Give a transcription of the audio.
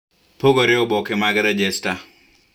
Pogore stakabadhi mag rejesta